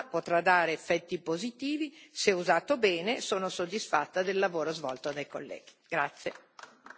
Credo che questo programma potrà dare effetti positivi, se usato bene, e sono soddisfatta del lavoro svolto dai colleghi.